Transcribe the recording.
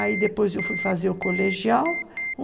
Aí depois eu fui fazer o colegial.